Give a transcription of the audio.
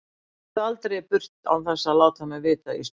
Og farðu aldrei í burtu án þess að láta mig vita Ísbjörg mín.